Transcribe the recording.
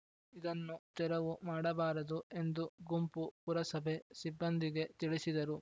ಇದನ್ನು ತೆರವು ಮಾಡಬಾರದು ಎಂದು ಗುಂಪು ಪುರಸಭೆ ಸಿಬ್ಬಂದಿಗೆ ತಿಳಿಸಿದರು